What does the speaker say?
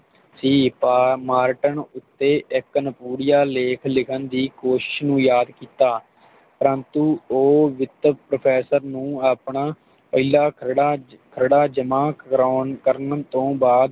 ਸੀ ਪਾ ਮਾਰਟਨ ਤੇ ਇਕ ਅਨੁਪਉੱਡੀਆਂ ਲੇਖ ਲਿਖਣ ਦੀ ਕੋਸ਼ਿਸ਼ ਨੂੰ ਯਾਦ ਕੀਤਾ ਪਰੰਤੂ ਉਹ ਵਿਤਕ Professor ਨੂੰ ਆਪਣਾ ਪਹਿਲਾ ਜਿਹੜਾ ਜਿਹੜਾ ਜਮਾਂ ਕਰਾਉਣ ਕਰਨ ਤੋਂ ਬਾਦ